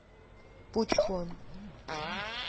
пучхон